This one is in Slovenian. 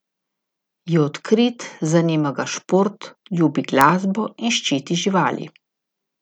Je odkrit, zanima ga šport, ljubi glasbo in ščiti živali.